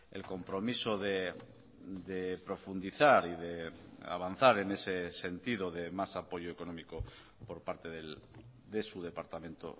el compromiso de profundizar y de avanzar en ese sentido de más apoyo económico por parte de su departamento